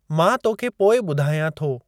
मां तोखे पोइ ॿुधायां थो।